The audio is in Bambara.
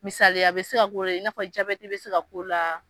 Misali ye a be se ka ko de ye in'a fɔ ja jabɛdi be se ka ko la